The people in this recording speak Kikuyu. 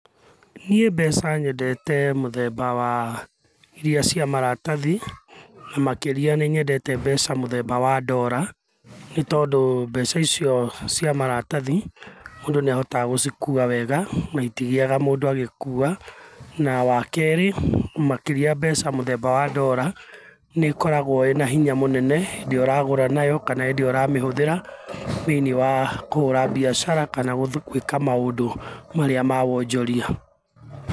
Niĩ mbeca nyendete mũthemba wa iria cia maratathi, makĩria ni nyendete mbeca mũthemba wa ndora, nĩ tondũ mbeca icio cia maratathi, mũndũ nĩ ahotaga gũcĩkua wega, na itigiaga mũndũ agĩkũa. Na wa keerĩ, makiria mbeca mũthemba wa ndora nĩ ikoragwa ĩna hinya mũnene hĩndi ĩrĩa ũragũra nayo, kana hĩndĩ ũramĩhũthĩra thĩiniĩ wa kũhũra biacara kana gũthiĩ gũĩka maũndũ marĩa ma wonjoria.